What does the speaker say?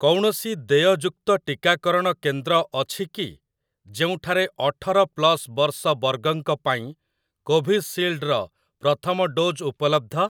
କୌଣସି ଦେୟଯୁକ୍ତ ଟିକାକରଣ କେନ୍ଦ୍ର ଅଛି କି ଯେଉଁଠାରେ ଅଠର ପ୍ଲସ୍ ବର୍ଷ ବର୍ଗଙ୍କ ପାଇଁ କୋଭିସିଲ୍ଡ ର ପ୍ରଥମ ଡୋଜ୍ ଉପଲବ୍ଧ ?